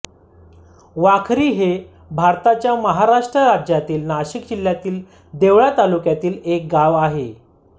वाखरी हे भारताच्या महाराष्ट्र राज्यातील नाशिक जिल्ह्यातील देवळा तालुक्यातील एक गाव आहे